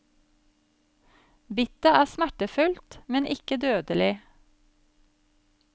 Bittet er smertefullt, men ikke dødelig.